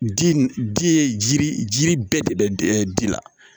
Di di ye jiri jiri bɛɛ de bɛ di la